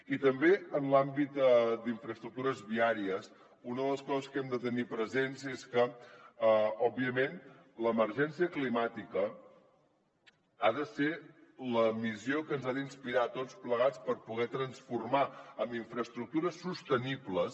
i també en l’àmbit d’infraestructures viàries una de les coses que hem de tenir presents és que òbviament l’emergència climàtica ha de ser la missió que ens ha d’inspirar a tots plegats per poder transformar amb infraestructures sostenibles